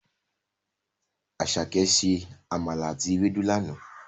Àsàké se àmàlà àti ewédú lana.